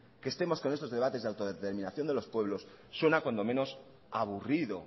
que estemos con estos debates de la autodeterminación de los pueblos suena cuando menos aburrido